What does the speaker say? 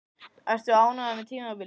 Ertu ánægður með tímabilið?